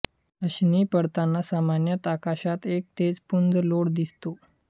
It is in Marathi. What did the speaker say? अशनी पडताना सामान्यत आकाशात एक तेज पुंज लोळ दिसतो